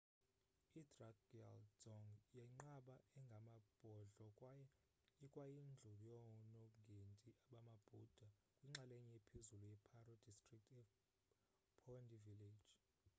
idrukgyal dzong yinqaba engamabhodlo kwaye ikwayindlu yoonongendi bamabhuda kwinxalenye ephezulu ye-paro district ephondey village